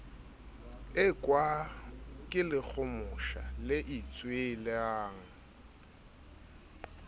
ekwa ke lekgomosha le itswelang